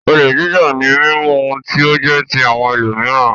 Olè jíjà ni mímú ohun tí ó jẹ́ ti àwọn ẹlòmíràn.